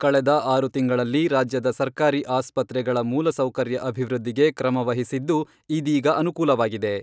ಕಳೆದ ಆರು ತಿಂಗಳಲ್ಲಿ ರಾಜ್ಯದ ಸರ್ಕಾರಿ ಆಸ್ಪತ್ರೆಗಳ ಮೂಲಸೌಕರ್ಯ ಅಭಿವೃದ್ಧಿಗೆ ಕ್ರಮ ವಹಿಸಿದ್ದು, ಇದೀಗ ಅನುಕೂಲವಾಗಿದೆ.